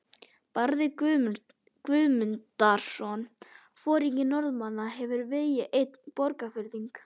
Barði Guðmundarson, foringi norðanmanna, hefur vegið einn Borgfirðing.